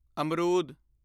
ਅਮਰੂਦ